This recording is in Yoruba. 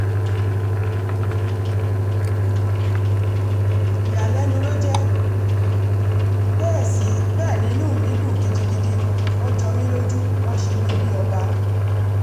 ìyàlẹ́nu ló jẹ́ ó bẹ́ẹ̀ ni inú mi dùn gidigidi wọ́n jọ mí lójú wọn ṣe mí bíi ọba